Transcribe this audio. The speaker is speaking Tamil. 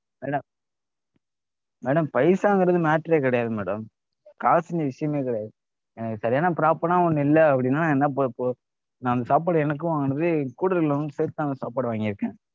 Madam madam paisa ங்கிறது matter ரே கிடையாது madam காசு இங்க விஷயமே கிடையாது. எனக்கு சரியான proper ஆன ஒன்னு இல்ல அப்படின்னா நான் என்ன இப்போ நான் அந்த சாப்பாடு எனக்கும் வாங்கினது கூட இருக்றவங்களுக்கும் சேர்த்து தான் சாப்பாடு வாங்கிருக்கேன்